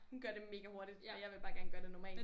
Hun gør det mega hurtigt og jeg vil bare gøre det normalt